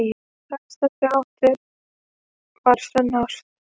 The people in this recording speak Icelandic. Það sem þau áttu var sönn ást.